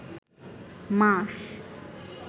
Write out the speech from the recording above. মাস